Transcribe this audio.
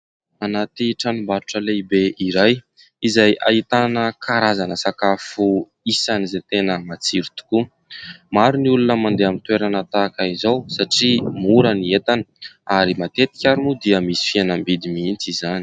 Anaty tranombarotra lehibe iray izay ahitana karazana sakafo isan'izay tena matsiro tokoa. Maro ny olona mandeha amin'ny toerana tahaka izao satria mora ny entana ary matetika ary moa dia misy fihenam-bidy mihitsy izany.